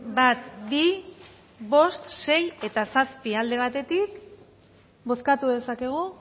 bat bi bost sei eta zazpi alde batetik bozkatu dezakegu